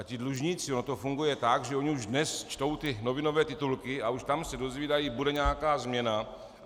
A ti dlužníci - ono to funguje tak, že oni už dnes čtou ty novinové titulky a už tam se dozvídají: bude nějaká změna.